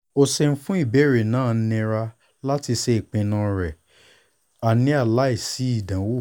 o ṣeun fun ibeere naao nira lati ṣe ipinnu rẹ a hernia laisi idanwo iwosan